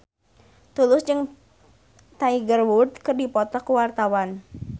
Tulus jeung Tiger Wood keur dipoto ku wartawan